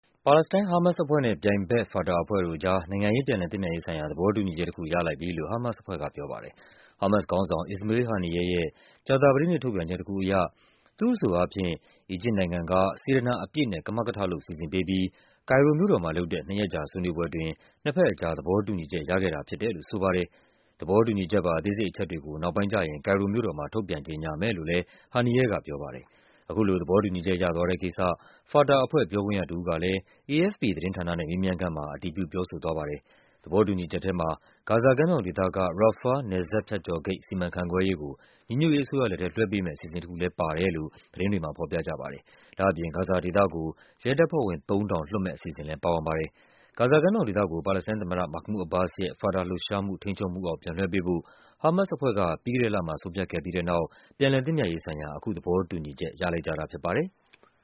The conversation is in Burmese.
ပါလက်စတိုင်း ဟားမတ်စ်အဖွဲ့နဲ့ ပြိုင်ဘက် ဖာတာအဖွဲ့တို့အကြား နိုင်ငံရေး ပြန်လည်သင့်မြတ်ရေးဆိုင်ရာ သဘောတူညီချက်တခု ရလိုက်ပြီလို့ ဟားမတ်စ်အဖွဲ့က ပြောပါတယ်။ ဟားမတ်စ်ခေါင်းဆောင် Ismail Haniyeh ရဲ့ ကြာသပတေးနေ့ ထုတ်ပြန်ချက်တခုအရ သူ့အဆိုအားဖြင့် အီဂျစ်နိုင်ငံက စေတနာ အပြည့်နဲ့ ကမကထလုပ် စီစဉ်ပေးပြီး ကိုင်ရိုမြို့တော်မှာလုပ်တဲ့ နှစ်ရက်ကြာဆွေးနွေးပွဲအတွင်း နှစ်ဘက်အကြား သဘောတူူညီ ချက် ရခဲ့တာဖြစ်တယ်လို့ ဆိုပါတယ်။ သဘောတူညီချက်ပါ အသေးစိတ်အချက်တွေကို နောက်ပိုင်းကျရင် ကိုင်ရိုမြို့တော်မှာ ထုတ်ပြန်ကြေညာမယ်လို့လဲ Haniyeh က ပြောပါတယ်။ အခုလို သဘောတူညီချက်ရသွားတဲ့ကိစ္စ ဖာတာအဖွဲ့ ပြောခွင့်ရတဦးကလဲ AFP သတင်းဌာနနဲ့ မေးမြန်းခန်းမှာ အတည်ပြု ပြောဆိုသွားပါတယ်။ သဘောတူညီချက်ထဲမှာ ဂါဇာကမ်းမြောင်ဒေသက Rafah နယ်စပ်ဖြတ်ကျော်ဂိတ် စီမံခန့်ခွဲရေးကို ညီညွတ်ရေးအစိုးရလက်ထဲ လွှဲပေးမယ့်အစီအစဉ်တခုလဲ ပါတယ်လို့ သတင်းတွေမှာ ဖော်ပြကြပါတယ်။ ဒါ့အပြင် ဂါဇာဒေသကို ရဲတပ်ဖွဲ့ဝင် ၃ ထောင် လွှတ် မယ့်အအစီအစဉ်လဲ ပါဝင်ပါတယ်။ ဂါဇာကမ်းမြောင်ဒေသကို ပါလက်စတိုင်းသမ္မတ Mahmoud Abbas ရဲ့ ဖာတာလှုပ်ရှားမှုရဲ့ ထိန်းချုပ်မှုအောက် ပြန်လွှဲပေးဖို့ ဟားမတ်စ်အဖွဲ့က ပြီးခဲ့တဲ့လမှာ ဆုံးဖြတ်ခဲ့ပြီးတဲ့နောက် ပြန်လည်သင့်မြတ်ရေးဆိုင်ရာ အခု သဘောတူညီချက် ရလိုက်ကြတာဖြစ်ပါတယ်။